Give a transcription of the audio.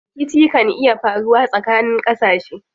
Rikici kan iya faruwa tsakanin ƙasashe.